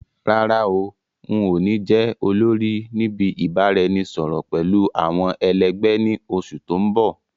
Rárá o, ǹ ó ní jẹ́ olórí níbi ìbáraẹnisọọ̀rọ̀ pẹ̀lú àwọn ẹ lẹgbẹ̀ ni oṣù tòun bọ̀.